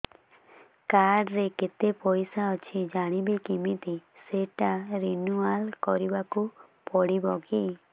card ରେ କେତେ ପଇସା ଅଛି ଜାଣିବି କିମିତି ସେଟା ରିନୁଆଲ କରିବାକୁ ପଡ଼ିବ କି